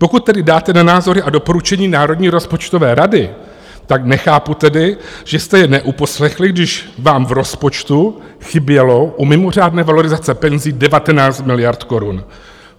Pokud tedy dáte na názory a doporučení Národní rozpočtové rady, tak nechápu tedy, že jste je neuposlechli, když vám v rozpočtu chybělo u mimořádné valorizace penzí 19 miliard korun.